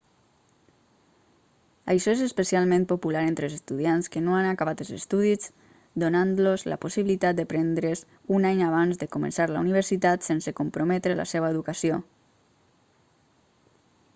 això és especialment popular entre estudiants que no han acabat els estudis donant-los la possibilitat de prendre's un any abans de començar la universitat sense comprometre la seva educació